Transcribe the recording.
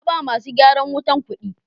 naba masu gyaran wutan kudi.